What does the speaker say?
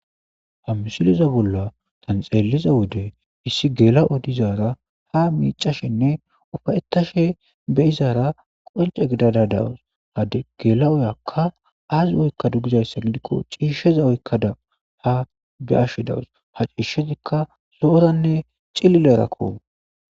ha misiliza bolla tanxeeliza wode issi geela7odizaara ha miicashinne ufayettashe be izaara qonce gidada dawus hade gela7oyakka aazi oykka dugizayssa gidikko ciishsheza oykkada ha beashsh dawus ha ciishshezikka lo7oranne cilile rakko